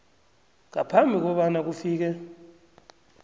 ngaphambi kobana kufike